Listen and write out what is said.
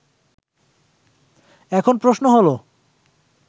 এখন প্রশ্ন হলো